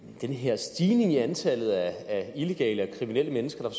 den her stigning i antallet af illegale og kriminelle mennesker der